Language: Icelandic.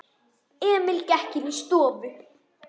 Emil gekk inní stofu.